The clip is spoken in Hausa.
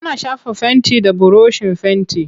Ana shafa fenti da burushin fenti.